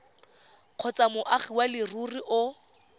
kgotsa moagi wa leruri o